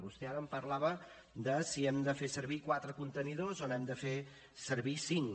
vostè ara em parlava de si hem de fer servir quatre contenidors o n’hem de fer servir cinc